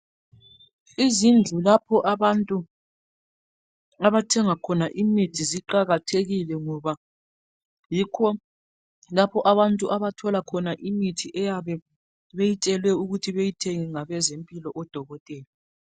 Izindlu lapho abantu abathenga khona imithi ziqakathekile ngoba yikho lapho abantu abathola khona imithi eyabe beyitshelwe ukuthi bayithenge ngabezempilo odokotela.